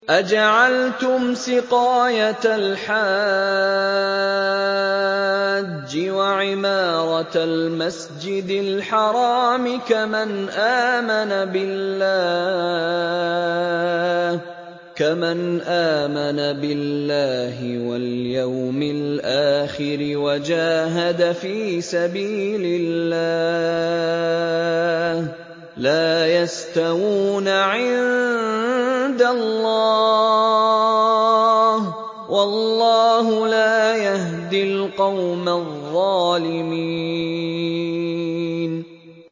۞ أَجَعَلْتُمْ سِقَايَةَ الْحَاجِّ وَعِمَارَةَ الْمَسْجِدِ الْحَرَامِ كَمَنْ آمَنَ بِاللَّهِ وَالْيَوْمِ الْآخِرِ وَجَاهَدَ فِي سَبِيلِ اللَّهِ ۚ لَا يَسْتَوُونَ عِندَ اللَّهِ ۗ وَاللَّهُ لَا يَهْدِي الْقَوْمَ الظَّالِمِينَ